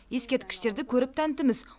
ескерткіштерді көріп тәнтіміз